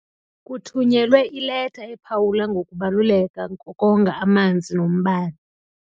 Kuthunyelwe ileta ephawula ngokubaluleka kokonga amanzi nombane.